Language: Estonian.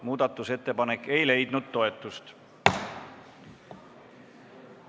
Muudatusettepanek ei leidnud toetust.